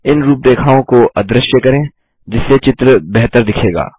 इन रूपरेखाओं को अदृश्य करें जिससे चित्र बेहतर दिखेगा